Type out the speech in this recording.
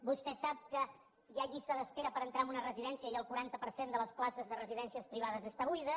vostè sap que hi ha llista d’espera per entrar en una residència i el quaranta per cent de les places de residències privades està buida